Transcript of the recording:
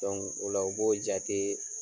o la u b'o jate